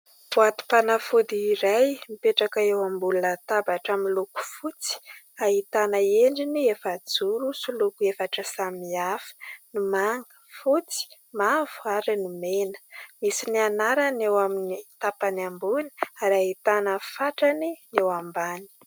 Boatim-panafody iray mipetraka eo ambony latabatra miloko fotsy ahitana endriny efajoro sy loko efatra samihafa : ny manga, fotsy, mavo ary ny mena. Misy ny anarany eo amin'ny tapany ambony ary ahitana ny fatrany eo ambany.